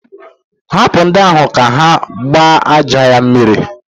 Hapụ ndị ahụ ka ha gbaa aja a mmiri!